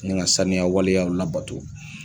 Ni ga saniya waleyaw la bato